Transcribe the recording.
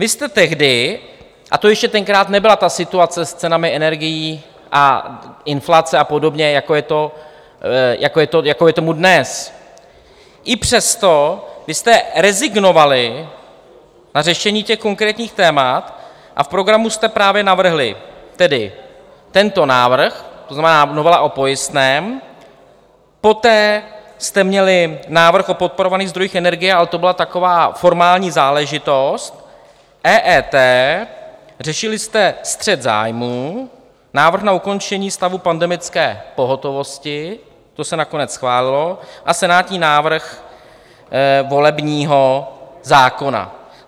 Vy jste tehdy, a to ještě tenkrát nebyla ta situace s cenami energií a inflace a podobně, jako je tomu dnes, i přesto vy jste rezignovali na řešení těch konkrétních témat a v programu jste právě navrhli tedy tento návrh, to znamená novela o pojistném, poté jste měli návrh o podporovaných zdrojích energie, ale to byla taková formální záležitost, EET, řešili jste střet zájmů, návrh na ukončení stavu pandemické pohotovosti, to se nakonec schválilo, a senátní návrh volebního zákona.